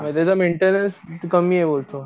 म्हणजे काय मेंटेनन्स कमीये बोलतो.